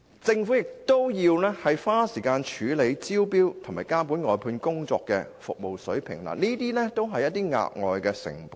政府亦須花時間處理招標和監管外判工作的服務水平，這些均是額外成本。